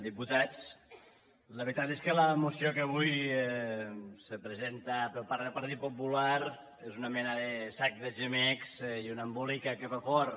diputats la veritat és que la moció que avui se presenta per part del partit popular és una mena de sac de gemecs i un embolica que fa fort